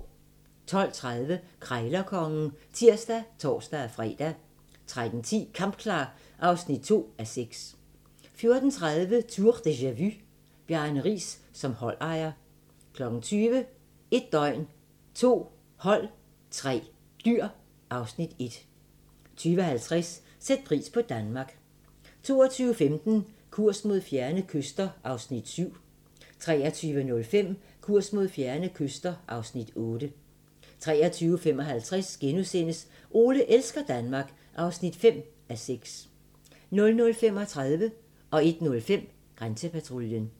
12:30: Krejlerkongen (tir og tor-fre) 13:10: Kampklar (2:6) 14:30: Tour de ja-vu: Bjarne Riis som holdejer 20:00: 1 døgn, 2 hold, 3 dyr (Afs. 1) 20:50: Sæt pris på Danmark 22:15: Kurs mod fjerne kyster (Afs. 7) 23:05: Kurs mod fjerne kyster (Afs. 8) 23:55: Ole elsker Danmark (5:6)* 00:35: Grænsepatruljen 01:05: Grænsepatruljen